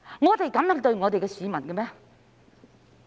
我們可以這樣對待市民嗎？